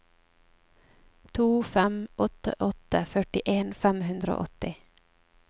to fem åtte åtte førtien fem hundre og åtti